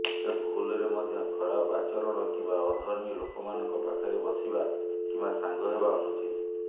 ତେଣୁ ଭୁଲରେ ମଧ୍ୟ ଖରାପ ଆଚରଣ କିମ୍ବା ଅଧର୍ମୀ ଲୋକମାନଙ୍କ ପାଖରେ ବସିବା କିମ୍ବା ସାଙ୍ଗ ହେବା ଅନୁଚିତ